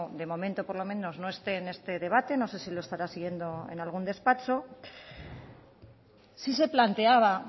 de momento por lo menos no esté en este debate no sé si lo estará siguiendo en algún despacho si se planteaba